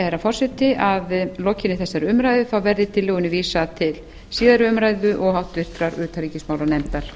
herra forseti að að lokinni þessari umræðu verði tillögunni vísað til síðari umræðu og háttvirtrar utanríkismálanefndar